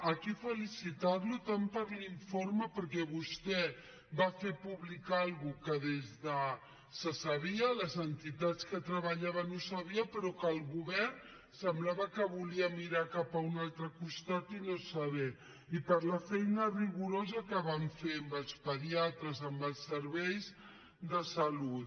aquí felicitarlo tant per l’informe perquè vostè va fer pública una cosa que se sabia les entitats que hi treballaven ho sabien però el govern semblava que volia mirar cap a un altre costat i no saberho com per la feina rigorosa que van fer amb els pediatres amb els serveis de salut